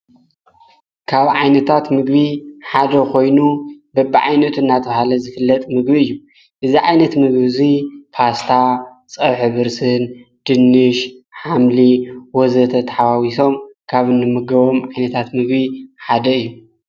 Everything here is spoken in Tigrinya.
ካብ ዓይነታት ምግቢ ሓደ ኾይኑ በብዓይኖቱ እናተውሃለ ዝክለጥ ምግቢ እዩ እዛ ዓይነት ምግብ እዙይ ጳስታ ጸውሒ ብርስን ድንሽ ሓምሊ ወዘተ ተሓዋዊሶም ካብ ንምገቦም ዓይነታት ምግቢ ሓደ እዩ::